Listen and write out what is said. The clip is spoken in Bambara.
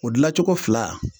O gilacogo fila